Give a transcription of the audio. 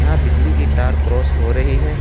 बिजली की तार क्रॉस हो रही है।